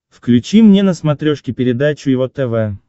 включи мне на смотрешке передачу его тв